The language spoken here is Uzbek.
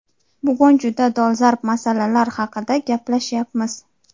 Bugun juda dolzarb masalalar haqida gaplashyapmiz.